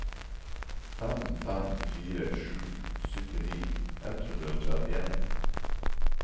fem fem fire sju syttini ett hundre og trettien